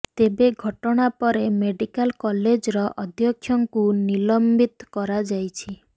ତେବେ ଘଟଣା ପରେ ମେଡିକାଲ୍ କଲେଜର ଅଧ୍ୟକ୍ଷଙ୍କୁ ନିଲମ୍ବିତ କରାଯାଇଛି